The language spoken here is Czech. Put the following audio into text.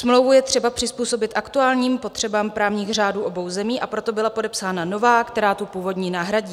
Smlouvu je třeba přizpůsobit aktuálním potřebám právních řádů obou zemí, a proto byla podepsána nová, která tu původní nahradí.